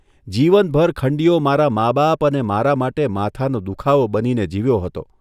જીવનભર ખંડીયો મારાં મા બાપ અને મારા માટે માથાનો દુઃખાવો બનીને જીવ્યો હતો.